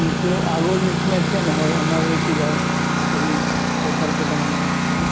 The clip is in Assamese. কিন্তু আগৰ নিচিনা এতিয়া নহয় আমাৰে কিবা হেৰি পথাৰ কেইটা মানে বহুত